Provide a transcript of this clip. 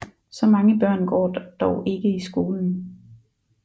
Så mange børn går dog ikke i skolen